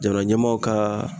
Jamana ɲɛmaw ka